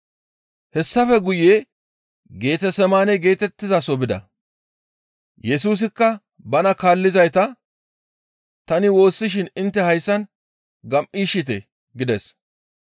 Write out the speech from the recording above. Hessafe guye Getesemaane geetettizaso bida; Yesusikka bana kaallizayta, «Tani woossishin intte hayssan gam7iishshite» gides.